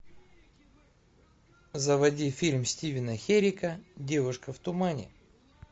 заводи фильм стивена херека девушка в тумане